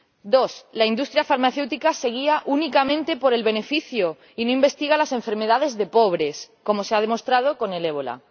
Dos, la industria farmacéutica se guía únicamente por el beneficio y no investiga las enfermedades de pobres, como se ha demostrado con el ébola.